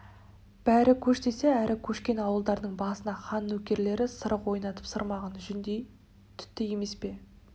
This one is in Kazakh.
бері көш десе әрі көшкен ауылдардың басына хан нөкерлері сырық ойнатып сырмағын жүндей түтті емес пе